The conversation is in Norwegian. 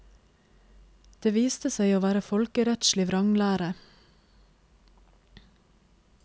Det viste seg å være folkerettslig vranglære.